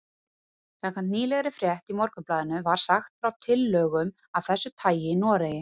Samkvæmt nýlegri frétt í Morgunblaðinu var sagt frá tillögum af þessu tagi í Noregi.